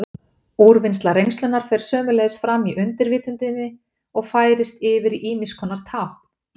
Úrvinnsla reynslunnar fer sömuleiðis fram í undirvitundinni og færist oft yfir í ýmiss konar tákn.